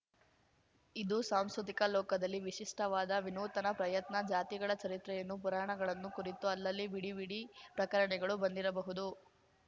ಇದು ಸಾಂಸ್ಕೃತಿಕ ಲೋಕದಲ್ಲಿ ವಿಶಿಷ್ಟವಾದ ವಿನೂತನ ಪ್ರಯತ್ನ ಜಾತಿಗಳ ಚರಿತ್ರೆಗಳನ್ನು ಪುರಾಣಗಳನ್ನು ಕುರಿತು ಅಲ್ಲಲ್ಲಿ ಬಿಡಿಬಿಡಿ ಪ್ರಕಟಣೆಗಳು ಬಂದಿರಬಹುದು